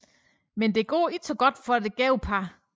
Men det går ikke så godt for det gæve par